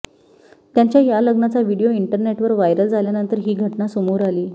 त्यांच्या या लग्नाचा व्हिडियो इंटरनेटवर व्हायरल झाल्यानंतर ही घटना समोर आली